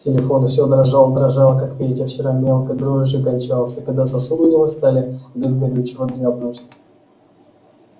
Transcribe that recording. телефон всё дрожал дрожал как петя вчера мелкой дрожью кончался когда сосуды у него стали без горючего дрябнуть